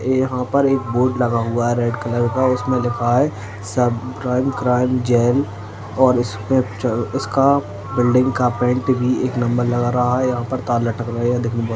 यहाँ पर एक बोर्ड लगा हुआ है रेड कलर का और इसमें लिखा है सब्सक्राइब क्राइम जेल और इसमें च इसका एक बिल्डिंग का पेंट भी एक नंबर लग रहा है। यहाँ पर तार लटक रहे है देखने में बहुत --